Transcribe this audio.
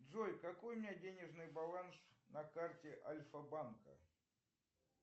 джой какой у меня денежный баланс на карте альфа банка